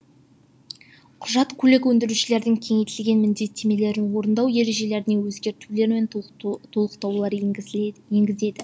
құжат көлік өндірушілердің кеңейтілген міндеттемелерін орындау ережелеріне өзгертулер мен толықтырулар енгізіледі енгізеді